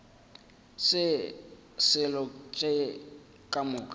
se selo tše ka moka